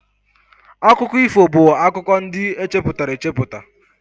Akụkọ ifo bụ akụkọ ndị echepụtara echepụta